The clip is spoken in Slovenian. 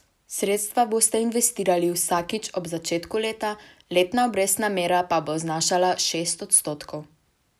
Sredstva boste investirali vsakič ob začetku leta, letna obrestna mera pa bo znašala šest odstotkov.